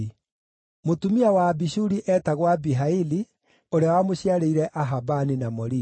Mũtumia wa Abishuri eetagwo Abihaili, ũrĩa wamũciarĩire Ahabani na Molidi.